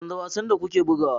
Canza wasan da kuke bugawa